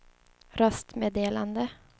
röstmeddelande